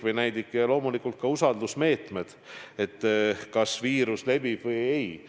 Ja loomulikult ka usaldusmeetmed, kas viirus levib või ei.